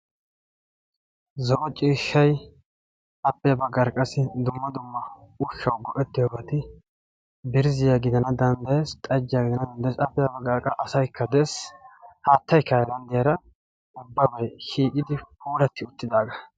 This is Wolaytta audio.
Zo'o ciishshay appe ya bagaara qassi dumma dumma ushshawu go'ettiyobati birzziya gidana dandayees, xajjiya gidana danddayees, appe ya bagaara qassi asaykka dees, haattaykka haylanddiyara ubbabay shiiqidi puulatti uttidaagaa.